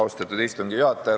Austatud istungi juhataja!